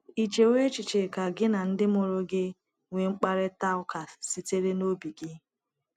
Ì chewo echiche ka gị na ndị mụrụ gị nwee mkparịta ụka sitere n’obi gị?